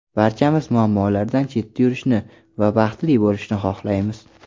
Barchamiz muammolardan chetda yurishni va baxtli bo‘lishni xohlaymiz.